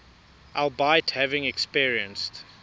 albeit having experienced